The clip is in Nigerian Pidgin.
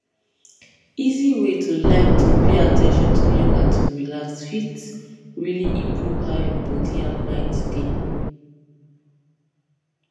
easy way like to pay at ten tion to yoga to relax fit really improve how your body and mind dey